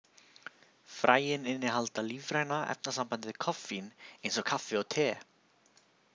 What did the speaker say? Fræin innihalda lífræna efnasambandið koffín, eins og kaffi og te.